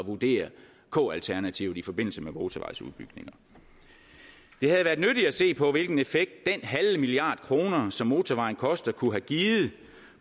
vurdere k alternativet i forbindelse med motorvejsudbygninger det havde været nyttigt at se på hvilken effekt den halve milliard kroner som motorvejen koster kunne have givet